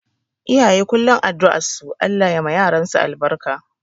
Iyaye kullum addu'ar su Allah ya ma yaransu albarka